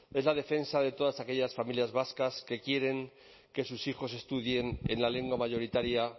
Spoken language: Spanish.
es la defensa de todas aquellas familias vascas que quieren que sus hijos estudien en la lengua mayoritaria